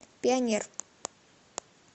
пионер